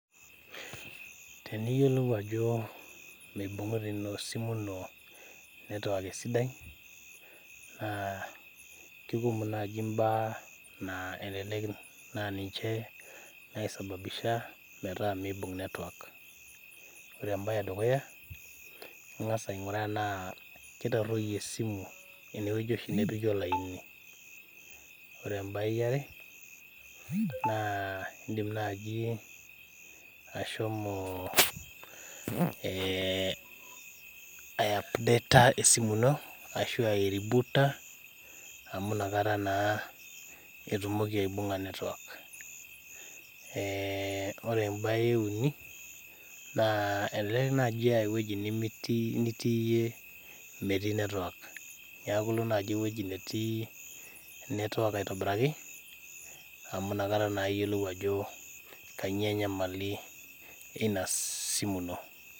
Teneyiolou ajo mibungita esimu ino network naa kikumok naaji imbaa naa elelek naa ninche naisababisha metaa mibung network ore ebae edukuya ingas ainguraa tenaa kitaroyie esimu enewueji nepiki olaini ore ebae eare naa indim naaji ashomo eh aipdeta esimu ino ashu airibuuta amu inakata naa etumoki aibunga network eh wore ebae eeuni elelek naaji ah ewueji nitii iyie metii network neaku ilo naaji ewueji netii network aitobiraki amu inakata naa iyielou ajo kainyioo enyamali ina simu ino.